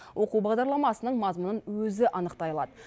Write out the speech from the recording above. оқу бағдарламасының мазмұнын өзі анықтай алады